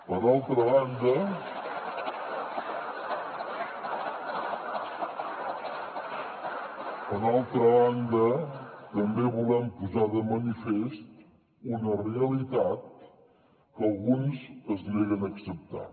per altra banda també volem posar de manifest una realitat que alguns es neguen a acceptar